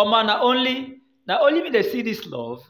Omo, na only an only me dey see dis love,